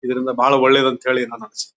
ಇದರಿಂದ ಬಹಳ ಒಳ್ಳೇದು ಅಂತ ಹೇಳಿ ನಾನು--